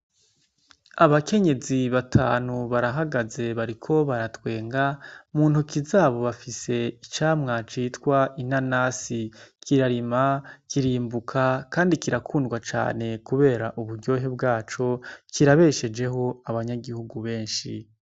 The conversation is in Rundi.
Abakenyezi batanu barahagaze, bariko baratwenga. Mu ntoki zabo bafise icamwa citwa inanasi, kirarimwa, kirimbuka kandi kirakundwa cane kubera uburyohe bwaco, kirabeshejeho abanyagihugu benshi.